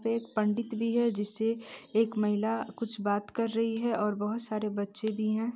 एक पंडित भी है जिससे एक महिला कुछ बात कर रही है और बहोत सारे बच्चे भी हैं।